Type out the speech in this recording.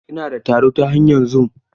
Ina da taro ta hanyar zum.